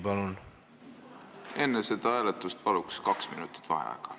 Palun enne seda hääletust kaks minutit vaheaega!